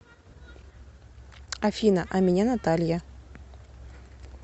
афина а меня наталья